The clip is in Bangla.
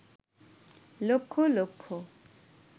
লক্ষ লক্ষ